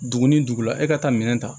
Dugu ni dugu la e ka taa minɛn ta